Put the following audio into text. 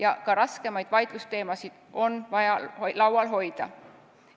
Ent ka raskemaid vaidlusteemasid on vaja laual hoida.